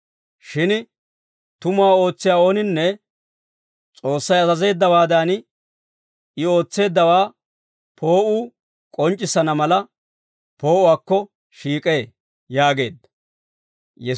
Shin tumuwaa ootsiyaa ooninne S'oossay azazeeddawaadan, I ootseeddawaa poo'uu k'onc'c'issana mala, poo'uwaakko shiik'ee» yaageedda.